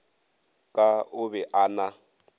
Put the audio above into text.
ka o be a na